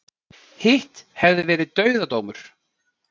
Hitt hefði verið dauðadómur